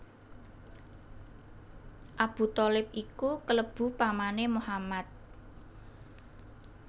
Abu Tholib iku klebu pamané Muhammad